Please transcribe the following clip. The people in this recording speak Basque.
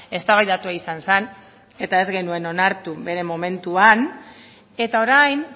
eztabaidatua izan zen eta ez genuen onartu bere momentuan eta orain